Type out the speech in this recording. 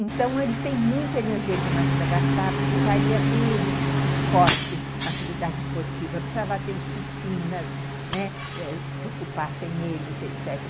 Então, eles têm muita energia demais para gastar, precisaria ter esporte, atividade esportiva, precisava ter oficinas, né, que ocupassem eles, etc.